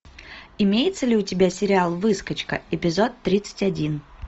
имеется ли у тебя сериал выскочка эпизод тридцать один